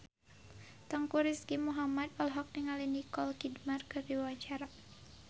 Teuku Rizky Muhammad olohok ningali Nicole Kidman keur diwawancara